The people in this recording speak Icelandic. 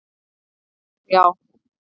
Það held ég, já.